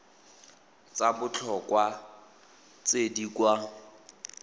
tsa botlhokwa tse di kwa